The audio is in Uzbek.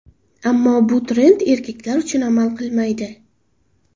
Ammo bu trend erkaklar uchun amal qilmaydi.